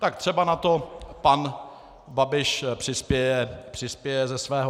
Tak třeba na to pan Babiš přispěje ze svého.